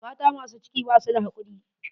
Mata masu ciki basu da hakuri.